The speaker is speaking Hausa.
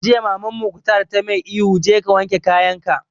Jiya Maman Mukhtar ta mai ihu 'Je ka wanke kayan ka'!